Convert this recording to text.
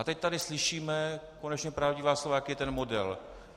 A teď tady slyšíme konečně pravdivá slova, jaký je ten model.